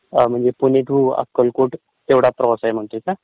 हा म्हणजे पुणे टू अक्कलकोट हा प्रवास म्हणतोयस ना तू?